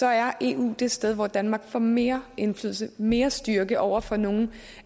er eu det sted hvor danmark får mere indflydelse og mere styrke over for nogle